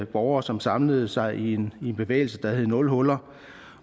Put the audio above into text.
borgere som samlede sig i en bevægelse der hed nul huller